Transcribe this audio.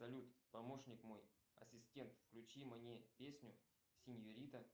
салют помощник мой асистент включи мне песню сеньорита